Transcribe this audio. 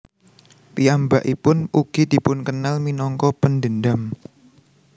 Piyambakpipun ugi dipunkenal minangka pendendam